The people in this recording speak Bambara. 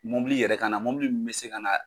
Mobili yɛrɛ ka na mobili min bɛ se ka na